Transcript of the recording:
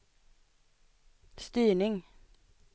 styrning